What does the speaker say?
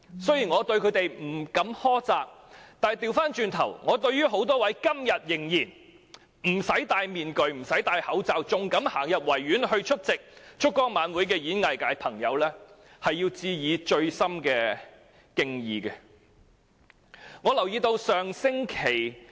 雖然我不會苛責他們，但對於多位今天仍然選擇不帶面具和口罩，仍然願意走進維園出席燭光晚會的演藝界朋友，我要致以深切的敬意。